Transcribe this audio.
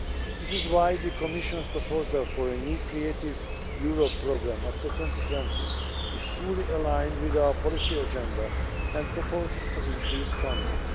That is why the Commission's proposal for a new Creative Europe programme after 2020 is fully aligned with our policy agenda, and proposes to increase funding.